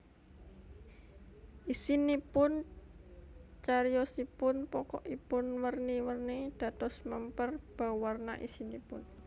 Isinipun Cariyosipun pokokipun werni werni dados mèmper bauwarna isinipun